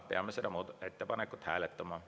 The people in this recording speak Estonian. Peame seda ettepanekut hääletama.